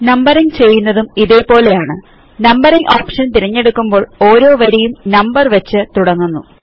numbering ചെയ്യുന്നതും ഇതെപോലെയാണ് numbering option തിരഞ്ഞെടുക്കുമ്പോൾ ഓരോ വരിയും നമ്പർ വെച്ച് തുടങ്ങുന്നു